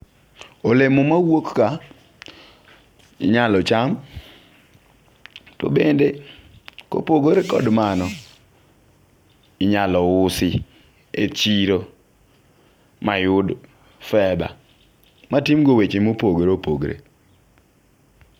Olemo mawuok ka inyalo cham . To bende kopogore kod mano , inyalo usi e chiro mayud fedha matim go weche mopogore opogore.